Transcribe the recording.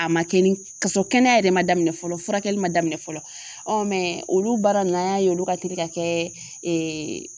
A ma kɛ ni kasɔrɔ kɛnɛya yɛrɛ ma daminɛ fɔlɔ furakɛli ma daminɛ fɔlɔ. olu baara n na an y'a ye olu ka teli ka kɛɛ